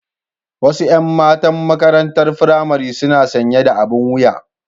Wasu 'yan matan maƙarantar firamare suna sanƴe da aɓin wuƴa.